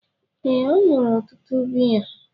Ee, ọ ṅụrụ ọtụtụ biya.